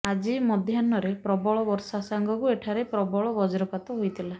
ଆଜି ମଧ୍ୟାହ୍ନରେ ପ୍ରବଳ ବର୍ଷା ସାଙ୍ଗକୁ ଏଠାରେ ପ୍ରବଳ ବଜ୍ରପାତ ହୋଇଥିଲା